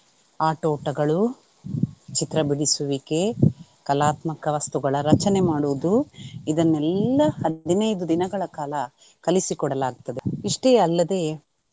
ಆಟೋಟಗಳು, ಚಿತ್ರಬಿಡಿಸುವಿಕೆ, ಕಲಾತ್ಮಕ ವಸ್ತುಗಳ ರಚನೆ ಮಾಡುವುದು ಇದನೆಲ್ಲಾ ಹದಿನೈದು ದಿನಗಳ ಕಾಲ ಕಲಿಸಿ ಕೊಡಲಾಗ್ತದೆ. ಇಷ್ಟೇ ಅಲ್ಲದೆ.